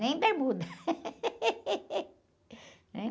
Nem bermuda. Né?